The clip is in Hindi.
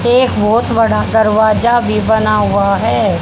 एक बहोत बड़ा दरवाजा भी बना हुआ है।